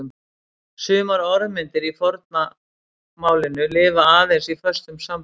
Sumar orðmyndir í forna málinu lifa aðeins í föstum samböndum.